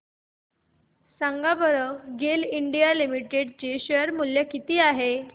सांगा बरं GAIL India limited share मूल्य किती आहे